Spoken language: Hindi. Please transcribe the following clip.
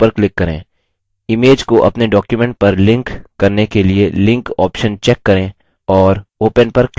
image को अपने document पर link करने के लिए link ऑप्शन check करें और open पर click करें